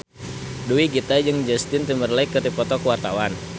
Dewi Gita jeung Justin Timberlake keur dipoto ku wartawan